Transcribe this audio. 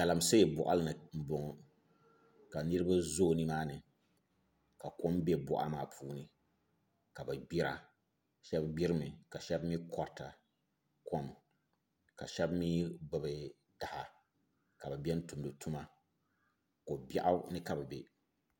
Galamsee n bala ka niraba zooi nimaani ka kom bɛ boɣa maa puuni ka bi gbira shab gnirimi ka shab mii korita kom ka shab mii gbubi taha ka bi biɛni n tumdi tuma ko biɛɣu ni ka bi bɛ